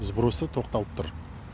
сбросы тоқталып тұр